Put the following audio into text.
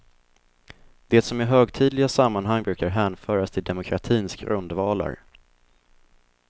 Det som i högtidliga sammanhang brukar hänföras till demokratins grundvalar.